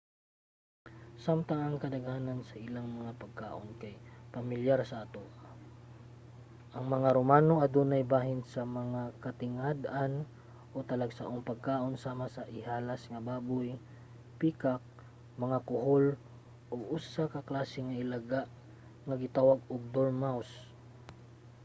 samtang ang kadaghanan sa ilang mga pagkaon kay pamilyar na sa atoa ang mga romano adunay bahin sa mga katingad-an o talagsaong pagkaon sama sa ihalas nga baboy peacock mga kuhol ug usa ka klase sa ilaga nga gitawag og dormouse